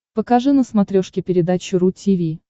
покажи на смотрешке передачу ру ти ви